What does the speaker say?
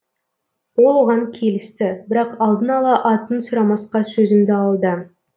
ол оған келісті бірақ алдын ала атын сұрамасқа сөзімді алды